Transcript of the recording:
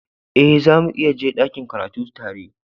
Eh, zamu iya je dakin karatu tare.